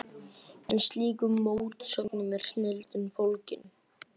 En í slíkum mótsögnum er snilldin fólgin.